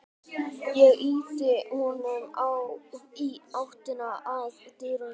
Ég ýti honum í áttina að dyrunum.